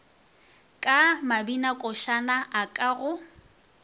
ka mabinakošana a ka go